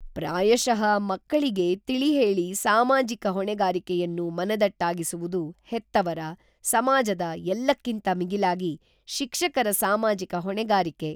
ಪ್ರಾಯಶಃ ಮಕ್ಕಳಿಗೆ ತಿಳಿಹೇಳಿ ಸಾಮಾಜಿಕ ಹೊಣೆಗಾರಿಕೆಯನ್ನು ಮನದಟ್ಟಾಗಿಸುವುದು ಹೆತ್ತವರ, ಸಮಾಜದ ಎಲ್ಲಕ್ಕಿಂತ ಮಿಗಿಲಾಗಿ ಶಿಕ್ಷಕರ ಸಾಮಾಜಿಕ ಹೊಣೆಗಾರಿಕೆ.